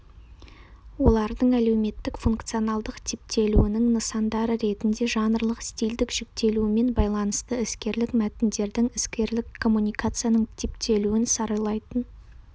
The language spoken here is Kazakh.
олардың әлеуметтік-функционалдық типтелуінің нысандары ретінде жанрлық-стильдік жіктелуімен байланысты іскерлік мәтіндердің іскерлік коммуникацияның типтелуін саралайтын